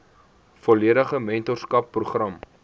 volledige mentorskap program